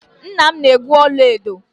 Nna m na-egwu ọla edo.